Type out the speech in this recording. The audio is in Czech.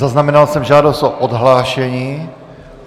Zaznamenal jsem žádost o odhlášení.